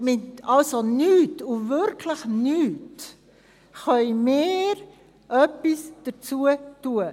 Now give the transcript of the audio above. Mit nichts und wirklich nichts können wir etwas dafür tun.